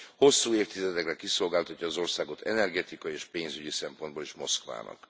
Hosszú évtizedekre kiszolgáltatja az országot energetikai és pénzügyi szempontból is Moszkvának.